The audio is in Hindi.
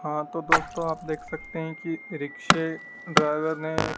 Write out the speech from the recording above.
हां तो दोस्तों आप देख सकते हैं की रिक्शे ड्राइवर ने--